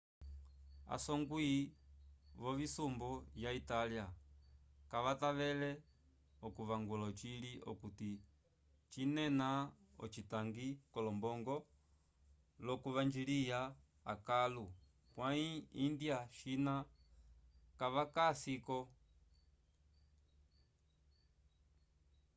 a songwi vo simbu ya italia kavatavele o kuvangula ocili okuti cinena ocitangi ko lombongo lo kuvanjiliya akalo pwayi india china kavaka si ko